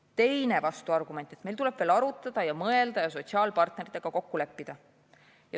Teine vastuargument on see, et meil tuleb veel arutada ja mõelda ja sotsiaalpartneritega kokku leppida.